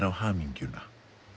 á hamingjuna